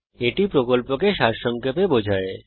এটি প্রকল্পকে সারসংক্ষেপে বোঝায়